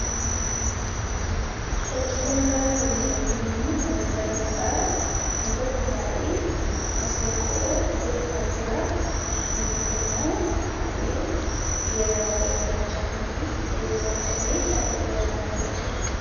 Fakkii kanarra kan nuti arginu namoota lamadhaa. inni tokko taa'e maseenqoo rukuttaa jiraa. inni tokko immoo taa'ee geeraraa jira gaachanaa fi eebo baadhatee taa'ee geeraraa iraachuudha.